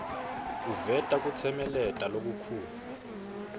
uveta kutsemeleta lokukhulu